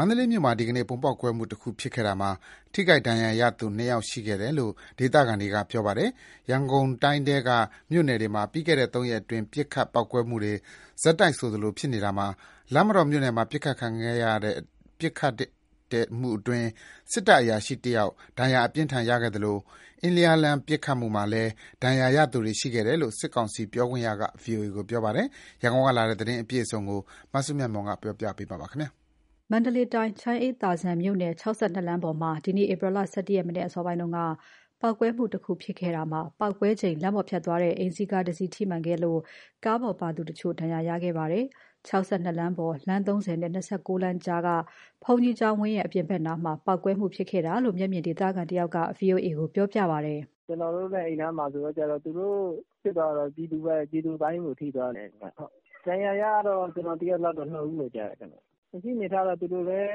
န္တလေးမြို့မှာ ဒီနေ့ ဗုံးပေါက်ကွဲမှုတခုဖြစ်ခဲ့တာမှာ ထိခိုက်ဒဏ်ရာရသူ ၂ ယောက်ရှိခဲ့တယ်လို့ ဒေသခံတွေက ပြောပါတယ်။ ရန်ကုန်တိုင်းထဲက မြို့နယ်တွေမှာ ပြီးခဲ့တဲ့ ၃ ရက်အတွင်း ပစ်ခတ်၊ ပေါက်ကွဲမှုတွေ ဆက်တိုက်ဆိုသလိုဖြစ်နေတာမှာ လမ်းမတော်မြို့နယ်မှာ ပစ်ခတ်ခံရတဲ့အတွင်း စစ်တပ်အရာရှိတယောက် ဒဏ်ရာအပြင်းအထန်ရခဲ့သလို၊ အင်းလျားလမ်း ပစ်ခတ်မှုမှာလည်း ဒဏ်ရာရသူတွေရှိတယ်လို့ စစ်ကောင်စီပြောခွင့်ရက ဗီအိုအေကို ပြောပါတယ်။ ရန်ကုန်ကလာတဲ့သတင်းအပြည့်အစုံကို မစုမြတ်မွန်ပြောပြမှာပါ။ မန္တလေးတိုင်း ချမ်းအေးသာဇံမြို့နယ် ၆၂ လမ်းပေါ်မှာ ဒီနေ့ ဧပြီလ ၁၁ ရက် မနက်အစာပိုင်းမှာ ပေါက်ကွဲမှုတခုဖြစ်ခဲ့တာမှာ ပေါက်ကွဲချိန် လမ်းပေါ် ဖြတ်သွားတဲ့ အိမ်စီးကားတစီးထိမှန်ခဲ့ပြီး ကားပေါ်ပါသူတချို့ ဒဏ်ရာရခဲ့ကြပါတယ်။ ၆၂ လမ်းပေါ် လမ်း ၃၀ နဲ့ ၂၉ လမ်းကြားက ဘုန်းကြီးကျောင်းဝန်းရဲ့ အပြင်ဘက် နားမှာ ပေါက်ကွဲမှုဖြစ်ခဲ့တာလို့ မျက်မြင်ဒေသခံတဦးက ဗွီအိုအေကို ပြောပါတယ်။ "သိရသလောက် ကျနော်တို့လည်း အဲဒီနားလောက်မှာဆိုတော့ ဖြစ်သွားတာတော့ ပြည်သူပိုင်းကို ထိသွားတယ်။ ဒဏ်ရာရတာကတော့ ကျနော်သိရသလောက် ၂ ဦးလို့ကြားတယ်။ လက်ရှိအနေအထားကတော့ သူတို့လည်း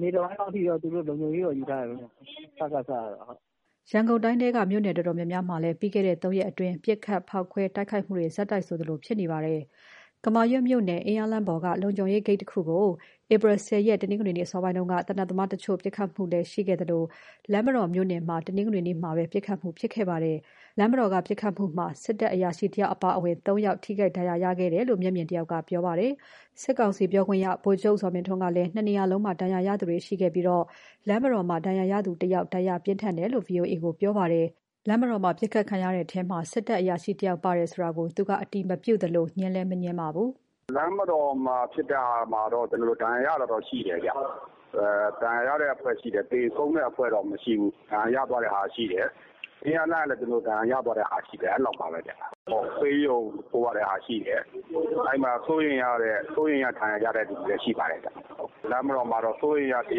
နေ့တပိုင်းလောက်ထိတော့ လုံခြုံရေးတော့ ယူထားတယ်ခင်ဗျ စကစကတော့။ ဒေသခံတယောက်အနေနဲ့ကတော့ ပြည်သူတင်တဲ့အစိုးရ မဖြစ်သေးသ၍ကတော့ ဒီလိုမျိုး ဖြစ်နေမှာပဲ။" ရန်ကုန်တိုင်းထဲက မြို့နယ်တော်တော်များများမှာလည်း ပြီးခဲ့တဲ့ ၃ ရက်အတွင်း ပစ်ခတ် ဖေါက်ခွဲတိုက်ခိုက်မှုတွေ ဆက်တိုက်ဆိုသလို ဖြစ်နေပါတယ်။ ကမာရွတ်မြို့နယ် အင်းယားလမ်းပေါ်က လုံခြုံရေးဂိတ်တခုကို ဧပြီလ ၁၀ ရက်၊ တနင်္ဂနွေနေ့အစောပိုင်းက သေနတ်သမားတချို့ ပစ်ခတ်ခဲ့သလို လမ်းမတော်မြို့နယ်မှာ တနင်္ဂနွေနေ့မှာပဲ ပစ်ခတ်မှုဖြစ်ခဲ့ပါတယ်။ လမ်းမတော်က ပစ်ခတ်မှုမှာ စစ်တပ်အရာရှိ တယောက်အပါအဝင် ၃ ယောက် ထိခိုက်ဒဏ်ရာရခဲ့တယ်လို့ မျက်မြင်တယောက်ကပြောပါတယ်။ စကစပြောခွင့်ရ ဗိုလ်ချုပ်ဇော်မင်းထွန်းကလည်း ၂ နေရာလုံးမှာ ဒဏ်ရာရသူတွေရှိခဲ့ပြီး လမ်းမတော်မှာ ဒဏ်ရာရသူ ၁ ယောက် ဒဏ်ရာပြင်းထန်တယ်လို့ ဗွီအိုအေကို ပြောပါတယ်။ လမ်းမတော်မှာ ဒဏ်ရာရ သူဟာ စစ်တပ်အရာရှိဆိုတာ သူက အတည်မပြုသလို ငြင်းလည်း မငြင်းပါဘူး။ “လမ်းမတော်မှာဖြစ်တာကတော့ ဒဏ်ရာရတာတော့ရှိတယ်။ ဒဏ်ရာရတဲ့အဖွဲ့တော့ရှိတယ်။ သေဆုံးတဲ့အဖွဲ့တော့ မရှိဘူး။ ဒဏ်ရာရသွားတာရှိတယ်။ အင်းယားလမ်းကလည်း ဒဏ်ရာရသွားတာရှိတယ်။ အဲလောက်ပါပဲဗျ။ ဆေးရုံပို့ရတဲ့ဟာရှိတယ်။ အဲဒီမှာ စိုးရိမ်ရတဲ့ ဒဏ်ရာရသူတွေလည်း ရှိပါတယ်ဗျ။ လမ်းမတော်မှာတော့ စိုးရိမ်ရတဲ့သူတ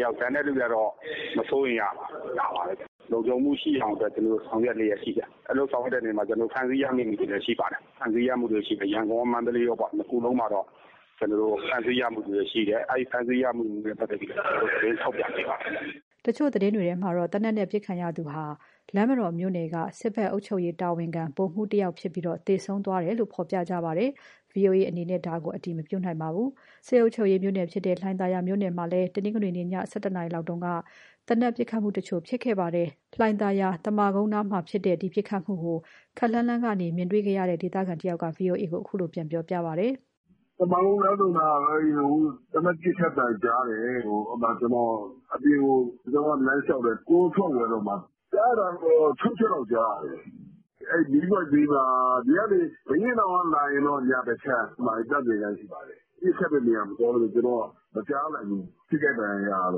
ယောက်၊ ကျန်တဲ့သူတွေကတော့ မစိုးရိမ်ရပါဘူး။ ဒါပါပဲဗျ။ လုံခြုံမှုရှိအောင် ကျနော်တို့ ဆောင်ရွက်လျှက်ရှိပါတယ်။ အဲဒီလို ဆောင်ရွက်တဲ့နေရာမှာ ဖမ်းဆီးရမိသူတွေလည်းရှိပါတယ်။ ရန်ကုန်ရော၊ မန္တလေးရော ၂ ခုလုံးမှာတော့ ဖမ်းဆီးရမိသူတွေရှိတယ်။ အဲဒီ ဖမ်းဆီးရမိသူတွေနဲ့ပတ်သက်ပြီး ကျနော်တို့ သတင်းထုတ်ပြန်နေပါတယ်။” တချို့သတင်းတွေမှာတော့ သေနတ်နဲ့ပစ်ခံရသူဟာ လမ်းမတော်မြို့နယ်က စစ်ဘက်အုပ်ချုပ်ရေးတာဝန် ခံ ဗိုလ်မှူးတယောက်ဖြစ်ပြီး သေဆုံးသွားတယ်လို့ ဖော်ပြကြပါတယ်။ ဗွီအိုအေအနေနဲ့တော့ ဒါကို အတည် မပြုနိုင်ပါဘူး။ စစ်အုပ်ချုပ်ရေးမြို့နယ်ဖြစ်တဲ့ လှိုင်သာယာမြို့နယ်မှာလည်း တနင်္ဂနွေနေ့ ည ၁၁ နာရီလောက်က သေနတ်ပစ်ခတ်မှုတချို့ ဖြစ်ခဲ့ပါတယ်။ လှိုင်သာယာ သမကုန်းနားမှာဖြစ်ခဲ့တဲ့ ဒီပစ်ခတ်မှုကို ခပ်လှမ်းလှမ်းကနေ မြင်တွေ့ခဲ့ရတဲ့ ဒေသခံတဦးက ဗွီအိုအေကို အခုလိုပြန်ပြောပြပါတယ်။ "သမကုန်းလမ်းဆုံနားက သေနတ်ပစ်ခတ်သံကြားတယ်။ အဲဒီမှာ ကျနော်က အပြင်ကို လမ်းလျှောက်တယ်။ အပြင်ကို ကွမ်းထွက်ဝယ်တော့မှ...။ ကြားရတာကတော့ ၆ ချက်လောက်ကြားရတယ်။ အဲဒီမီးပွိုင့်ဘေးမှာ ဒီကနေ ဘုရင့်နောင်ကနေ လာမယ်ဆိုရင် ညာဘက်အခြမ်း အဲဒီမှာ သန့်စင်ခန်းရှိပါတယ်။ ပစ်ခတ်တဲ့နေရာမသွားတော့ ကျနော်က မကြားလိုက်ဘူး။ ထိခိုက်ဒဏ်ရာရတာ ဘ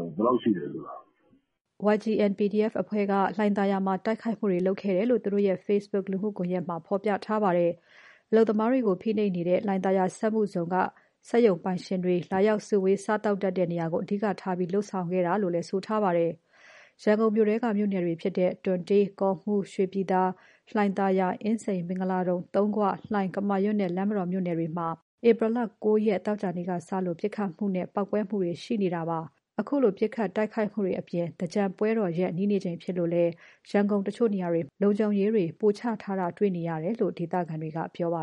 ယ်လောက်ရှိတယ်ဆိုတာကို။" YGN PDF အဖွဲ့က လှိုင်သာယာမှာ တိုက်ခိုက်မှုတွေလုပ်ခဲ့တယ်လို့ သူတို့ရဲ့ Facebook လူမှုကွန်ရက် မှာ ဖော်ပြထားပါတယ်။ အလုပ်သမားတွေကို ဖိနှိပ်နေတဲ့ လှိုင်သာယာ စက်မှုဇုံက စက်ရုံပိုင်ရှင်တွေ လာရောက်စုဝေး စားသောက်တတ်တဲ့ နေရာတွေကို အဓိကထားပြီး လုပ်ဆောင်ခဲ့တာလို့ ဆိုထားပါတယ်။ ရန်ကုန်တိုင်းထဲက မြို့နယ်တွေဖြစ်တဲ့ တွံတေး၊ ကော့မှူး၊ ရွှေပြည်သာ၊ လှိုင်သာယာ၊ အင်းစိန်၊ မင်္ဂလာဒုံ၊ သုံးခွ၊ လှိုင်၊ ကမာရွတ်နဲ့ လမ်းမတော် မြို့နယ်တွေမှာ ဧပြီလ ၉ ရက် သောကြာနေ့ကစလို့ ပစ်ခတ်မှုနဲ့ ပေါက်ကွဲမှုတွေ ရှိခဲ့ပါတယ်။ ခုလိုပစ်ခတ် တိုက်ခိုက်မှုတွေအပြင် သင်္ကြန်ပွဲတော်ရက် နီးနေချိန်လည်းဖြစ်လို့ ရန်ကုန်တချို့နေရာတွေမှာ လုံခြုံရေးတွေ ပိုချထားတာ တွေ့နေရတယ်လို့ ဒေသခံတွေက ပြောပါ